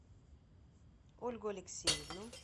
ольгу алексеевну